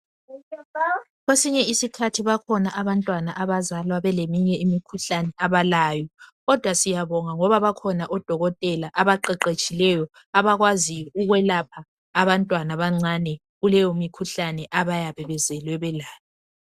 Kwesinye isikhathi bakhona abantwana abazalwa beleyinye imikhuhlane kodwa siyabonga ngoba bakhona odokotela abaqeqetshileyo abakwazi ukwelapha abantwana abancane kuleyo mikhuhlane abayabe bezelwe belayo.